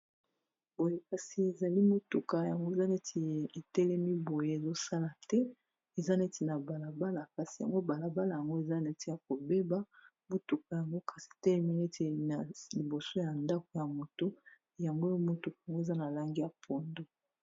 boye kasi ezali motuka yango eza neti etelemi boye ezosala te eza neti na balabala kasi yango balabala yango eza neti ya kobeba motuka yango kasi telemi neti na liboso ya ndako ya moto yangoya motuka yango eza na lange ya pondo